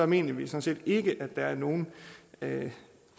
mener vi sådan ikke at der er nogen